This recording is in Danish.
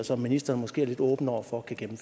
som ministeren måske er lidt åben over for kan